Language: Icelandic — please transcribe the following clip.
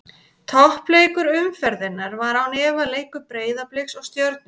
Toppleikur umferðarinnar var án efa leikur Breiðabliks og Stjörnunnar.